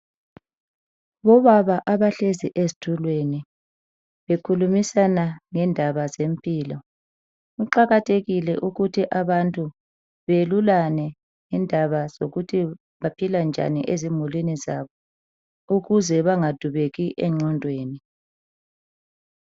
Obaba abahlezi ezitulweni bekhulumisana ngendaba zempilo, kuqakathekile ukuthi abantu beyelulane ngendaba zokuthi baphila njani ezimulini zabo ukuze bengadubeki enqondweni.